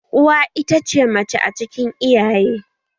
Uwa ita ce mace cikin iyaye